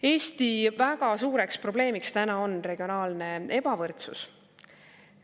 Eesti väga suureks probleemiks on regionaalne ebavõrdsus.